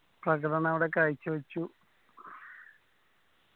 പ്രകടനം അവിടെ കാഴ്ച വച്ചു